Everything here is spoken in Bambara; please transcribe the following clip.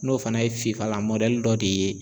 N'o fana ye fifalan dɔ de ye